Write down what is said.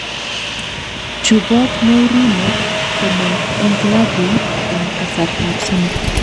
Chuboot Mourinho komong eng klabuit eng kasartab somok